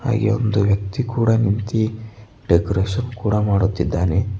ಹಾಗೆ ಒಂದು ವ್ಯಕ್ತಿ ಕೂಡ ನಿಂತಿ ಡೆಕೋರೇಷನ್ ಕೂಡ ಮಾಡುತ್ತಿದ್ದಾನೆ.